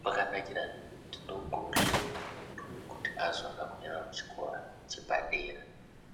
,kwakanakire kuti ndokuno hleyiwa muntu kuti azoona kuenda kuchikora chepadera.